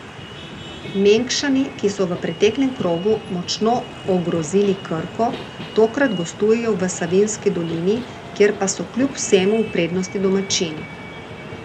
Mengšani, ki so v preteklem krogu močno ogrozili Krko, tokrat gostujejo v Savinjski dolini, kjer pa so kljub vsemu v prednosti domačini.